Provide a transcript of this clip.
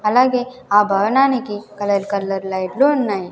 అలాగే ఆ భవనానికి కలర్ కలర్ లైట్లు ఉన్నాయి.